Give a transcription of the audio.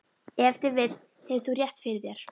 Ef til vill hefur þú rétt fyrir þér.